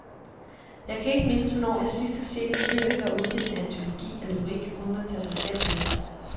Jeg kan ikke mindes, hvornår jeg sidst har set en lyriker udgive en antologi af lyrik uden at tage sig selv med.